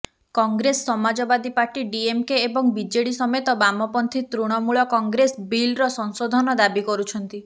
Congress Samajwadi party DMK ଏବଂ ବିଜେଡି ସମେତ ବାମପନ୍ଥୀ ତୃଣମୂଳ କଂଗ୍ରେସ ବିଲ୍ର ସଂଶୋଧନ ଦାବି କରୁଛନ୍ତି